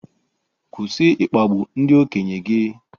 Kwụsị ịkpagbu ndị okenye gị